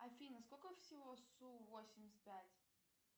афина сколько всего су восемьдесят пять